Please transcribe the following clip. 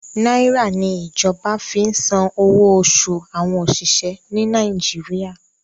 Nàìrà ni ìjọba fi san owó oṣù àwọn òṣìṣẹ́ ni Nàìjíríà.